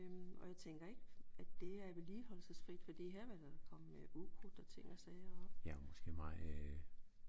Og jeg tænker ikke at det er vedligeholdelsesfrit fordi her vil der komme ukrudt og ting og sager op